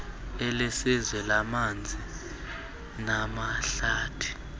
elesizwe lamanzi namahlathi